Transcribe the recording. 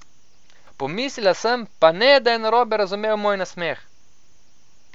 Pomislila sem: 'Pa ne, da je narobe razumel moj nasmeh?